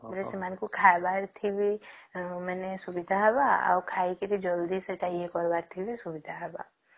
ସେମାନଙ୍କୁ ଖାଇବର ଥି ବି ସୁବିଧା ହେବ ଆଉ ଖାଇକିରି ଜଲ୍ଦି ସେତ ୟେ କରୀକିବାର ଥିଲେ ବି ସୁବିଧା ହେବ